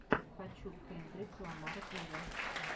хочу кендрик ламар виво